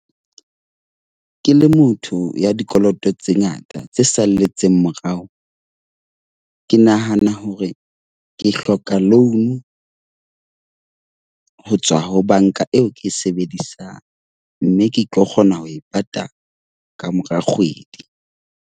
Ke le motho ya dikoloto tse ngata tse salletseng morao. Ke nahana hore ke hloka loan ho tswa ho banka eo ke e sebedisang mme ke tlo kgona ho e patala kamora kgwedi.